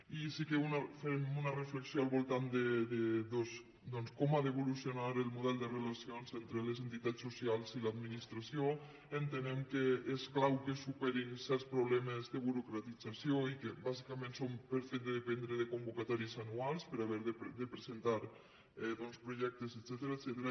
i sí que fem una reflexió al voltant de doncs com ha d’evolucionar el model de relacions entre les entitats so·cials i l’administració entenem que és clau que es su·perin certs problemes de burocratització i que bàsica·ment són pel fet de dependre de convocatòries anuals per haver de presentar doncs projectes etcètera